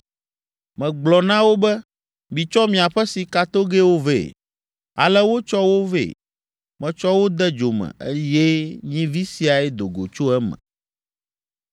Megblɔ na wo be, ‘Mitsɔ miaƒe sikatogɛwo vɛ.’ Ale wotsɔ wo vɛ. Metsɔ wo de dzo me, eye nyivi siae do go tso eme!”